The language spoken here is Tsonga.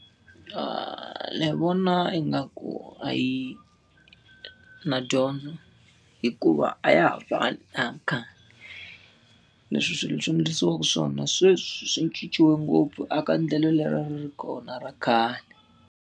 Ndzi vona ingaku a yi na dyondzo, hikuva a ya ha fani na ya khale. Leswi swilo swi endlisiwa swona sweswo swi cincile ngopfu aka endlelo leri a ri ri kona ra khale.